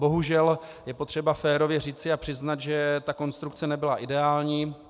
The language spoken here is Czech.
Bohužel je potřeba férově říci a přiznat, že ta konstrukce nebyla ideální.